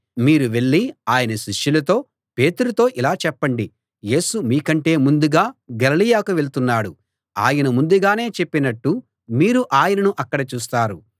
మీరు వెళ్ళి ఆయన శిష్యులతో పేతురుతో ఇలా చెప్పండి యేసు మీకంటే ముందుగా గలిలయకి వెళ్తున్నాడు ఆయన ముందుగానే చెప్పినట్టు మీరు ఆయనను అక్కడ చూస్తారు